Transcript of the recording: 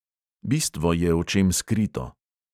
Bistvo je očem skrito.